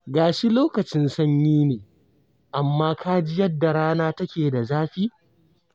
Ga shi lokacin sanyi ne, amma ka ji yadda rana take da zafi?